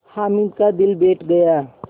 हामिद का दिल बैठ गया